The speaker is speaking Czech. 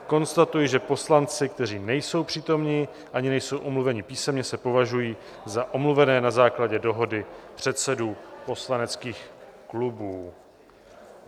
Konstatuji, že poslanci, kteří nejsou přítomni ani nejsou omluveni písemně, se považují za omluvené na základě dohody předsedů poslaneckých klubů.